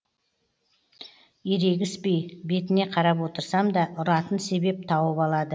ерегіспей бетіне қарап отырсам да ұратын себеп тауып алады